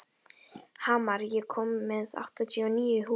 Hamar, ég kom með áttatíu og níu húfur!